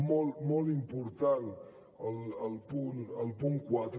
molt molt important el punt quatre